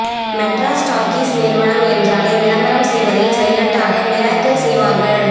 Madras Talkies நிறுவனம் என்றாலே விளம்பரம் செய்வதில் சைலண்டாக மிராக்கிள் செய்வார்கள்